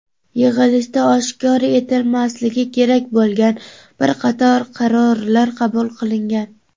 yig‘ilishda oshkor etilmasligi kerak bo‘lgan bir qator qarorlar qabul qilingan.